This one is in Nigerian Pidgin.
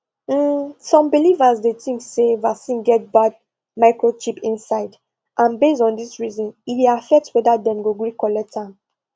um some believers dey think say vaccine get bad microchip inside and base on this reason e dey affect whether dem go gree collect am